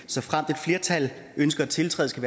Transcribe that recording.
såfremt et flertal ønsker at tiltræde skal